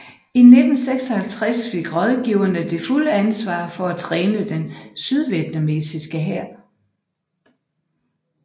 I 1956 fik rådgiverne det fulde ansvar for at træne den sydvietnamesiske hær